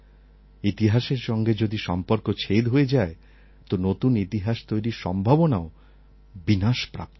ইতিহাসের সঙ্গে যদি সম্পর্ক ছেদ হয়ে যায় তো নতুন ইতিহাস তৈরির সম্ভাবনাও বিনাশপ্রাপ্ত হয়